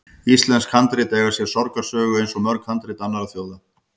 Íslensk handrit eiga sér sorgarsögu, eins og mörg handrit annarra þjóða.